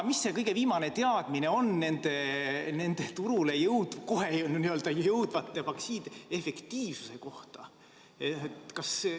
Mis see kõige viimane teadmine on nende n-ö kohe turule jõudvate vaktsiinide efektiivsuse kohta?